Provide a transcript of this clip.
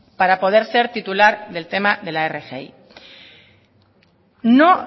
para poder ser titular del tema de la rgi no